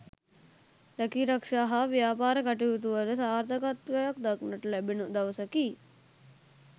රැකීරක්ෂා හා ව්‍යාපාර කටයුතුවල සාර්ථකත්වයක් දක්නට ලැබෙන දවසකි